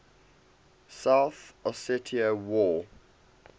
south ossetia war